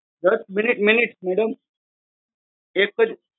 એક minute madam એક જ મિનીટ